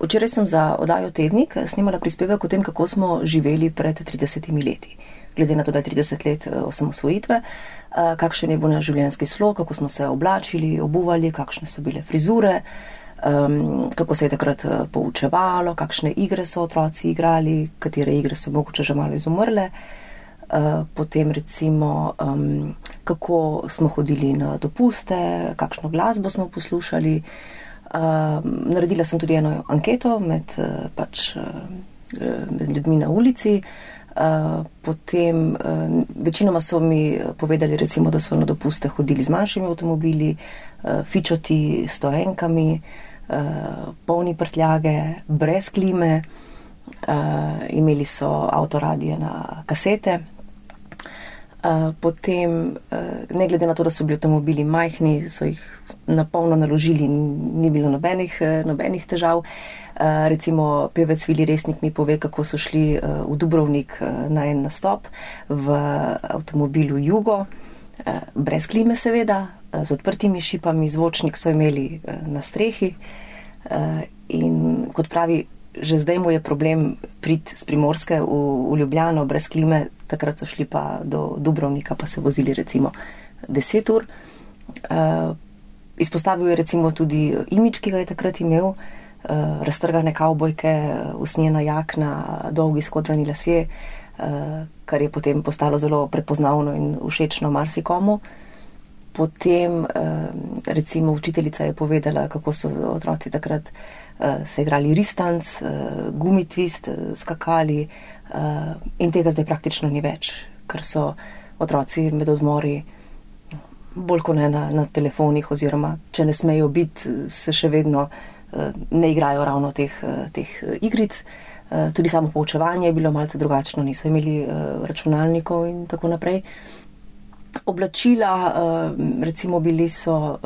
Včeraj sem za oddajo Tednik, snemala prispevek o tem, kako smo živeli pred tridesetimi leti. Glede na to, da je trideset let, osamosvojitve. kakšen je bil naš življenjski slog, kako smo se oblačili, obuvali, kakšne so bile frizure. kako se je takrat, poučevalo, kakšne igre so otroci igrali, katere igre so mogoče že malo izumrle. potem recimo, kako smo hodili na dopuste, kakšno glasbo smo poslušali. naredila sem tudi eno anketo med, pač, med ljudmi na ulici, Potem, večinoma so mi, povedali recimo, da so na dopuste hodili z našimi avtomobili. fičoti, stoenkami, polni prtljage, brez klime. imeli so avtoradio na kasete. potem, ne glede na to, da so bili avtomobili majhni, so jih na polno naložili, ni bilo nobenih, nobenih težav. recimo pevec Vili Resnik mi pove, kako so šli, v Dubrovnik, na en nastop. V avtomobilu jugo, brez klime seveda, z odprtimi šipami, zvočnik so imeli, na strehi. in kot pravi, že zdaj mu je problem priti s Primorske v Ljubljano brez klime, takrat so šli pa do Dubrovnika, pa se vozili recimo deset ur. izpostavil je recimo tudi imidž, ki ga je takrat imel. raztrgane kavbojke, usnjena jakna, dolgi skodrani lasje, kar je potem postalo zelo prepoznavno in všečno marsikomu. Potem, recimo učiteljica je povedala, kako so otroci takrat, se igrali ristanc, gumitvist, skakali, in tega praktično zdaj ni več, ker so otroci med odmori bolj kot ne na, na telefonih, oziroma če ne smejo biti, se še vedno, ne igrajo ravno teh, teh igric. tudi samo poučevanje je bilo malce drugačno, niso imeli, računalnikov in tako naprej. Oblačila, recimo bili so,